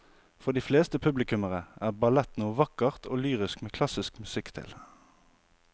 For de fleste publikummere er ballett noe vakkert og lyrisk med klassisk musikk til.